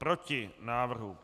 Proti návrhu.